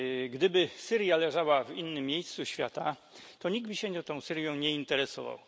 Gdyby Syria leżała w innym miejscu świata, to nikt by się nią nie interesował.